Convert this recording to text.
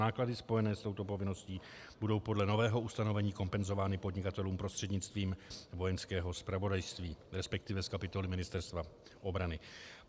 Náklady spojené s touto povinností budou podle nového ustanovení kompenzovány podnikatelům prostřednictvím Vojenského zpravodajství, respektive z kapitoly Ministerstva obrany.